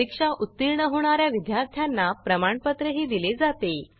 परीक्षा उत्तीर्ण होणा या विद्यार्थ्यांना प्रमाणपत्रही दिले जाते